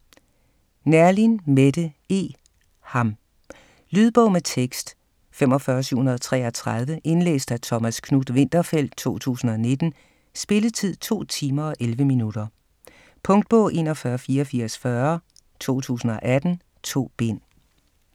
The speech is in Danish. Neerlin, Mette E.: Ham Lydbog med tekst 45733 Indlæst af Thomas Knuth-Winterfeldt, 2019. Spilletid: 2 timer, 11 minutter. Punktbog 418440 2018. 2 bind.